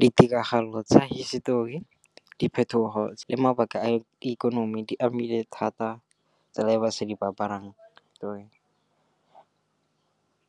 Ditiragalo tsa hisetori, diphetogo le mabaka a ikonomi di amile thata tsela e basadi ba aparang ka yone.